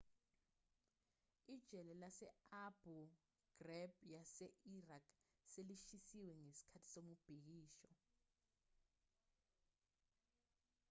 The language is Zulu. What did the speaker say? ijele lase-abu ghraib yase-iraq selishisiwe ngesikhathi somubhikisho